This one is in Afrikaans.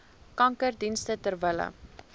kankerdienste ter wille